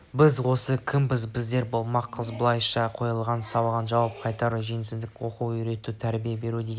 біздер осы кімбіз біздер кім болмақпыз бұлайша қойылған сауалға жауап қайыру жөнсіздік оқып-үйрету тәрбие беру деген